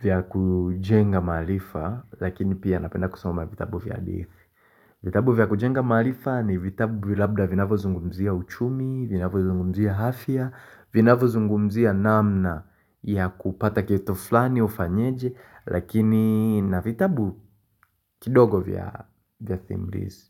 vya kujenga maarifa, lakini pia napenda kusoma vitabu vya defi. Vitabu vya kujenga malifa ni vitabu vya labda vinavvyo zungumzia uchumi, vinavyo zungumzia hafya, vinavyo zungumzia namna ya kupata kitu fulani ufanyeje, lakini na vitabu kidogo vya thimlisi.